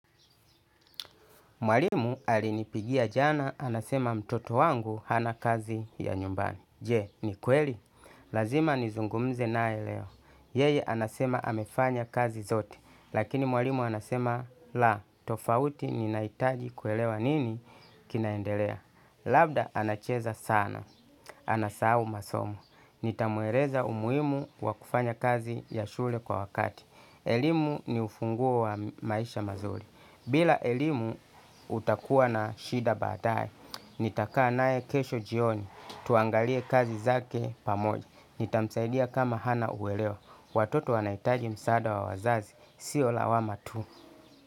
Mwalimu alinipigia jana, anasema mtoto wangu hana kazi ya nyumbani. Je, ni kweli. Lazima nizungumze nae leo. Yeye anasema hamefanya kazi zote. Lakini mwalimu anasema, la, tofauti ni naitaji kuelewa nini kinaendelea. Labda anacheza sana. Anasau masomo. Nitamuereza umuimu wakufanya kazi ya shule kwa wakati. Elimu ni ufunguo wa maisha mazuri. Bila elimu utakuwa na shida badae, nitakaa nae kesho jioni, tuangalie kazi zake pamoja, nitamsaidia kama hana uweleo, watoto wanaitaji msaada wa wazazi, siola wa matu.